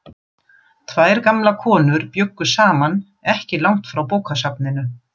Tvær gamlar konur bjuggu saman ekki langt frá bókasafninu.